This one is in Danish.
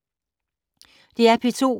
DR P2